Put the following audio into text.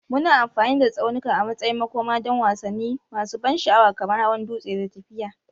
Muna amfani da tsaunuka a matsayin makoma don wasanni masu ban sha'awa kamar hawan dutse da tafiya.